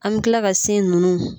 An bɛ kila ka sin nunnu.